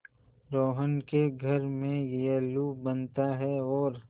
रोहन के घर में येल्लू बनता है और